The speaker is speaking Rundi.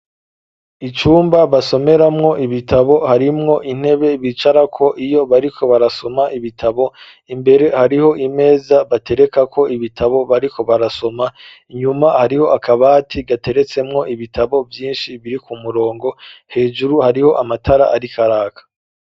Icumba basomeramwo ibitabo harimwo intebe bicara ko iyo bariko barasoma ibitabo imbere hariho imeza batereka ko ibitabo bariko barasoma nyuma hariho akabati gateretsemwo ibitabo vyinshi biri ku murongo hejuru hariho amatara ariko araka.